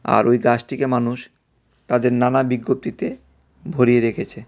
আর ওই গাছটিকে মানুষ তাদের নানা বিজ্ঞপ্তিতে ভরিয়ে রেখেছে।